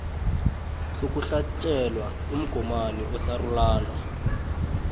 sokuhlatjelwa umgomani osarulana